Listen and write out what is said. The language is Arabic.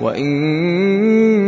وَإِن